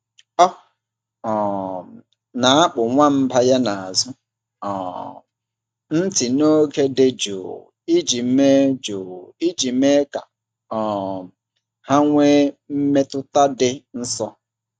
Ọ um na-akpụ nwamba ya n’azụ um ntị n’oge dị jụụ iji mee jụụ iji mee ka um ha nwee mmetụta dị nso.